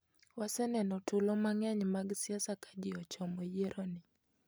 Waseneno tulo mang'eny mag siasa ka ji ochomo yieroni.